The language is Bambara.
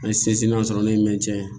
An ye sinsin an sɔrɔ ne ye min tiɲɛ